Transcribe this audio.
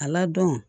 A ladɔn